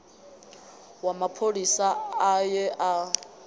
wa mapholisa a ye a